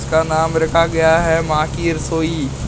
इसका नाम रखा गया है मां की रसोई।